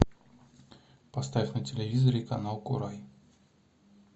поставь на телевизоре канал курай